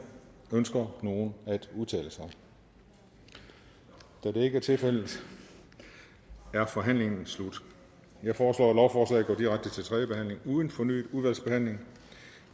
ønsker nogen at udtale sig da det ikke er tilfældet er forhandlingen slut jeg foreslår at lovforslaget går direkte til tredje behandling uden fornyet udvalgsbehandling